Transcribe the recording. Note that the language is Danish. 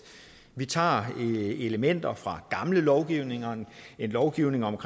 vi tager elementer fra gamle lovgivninger en lovgivning om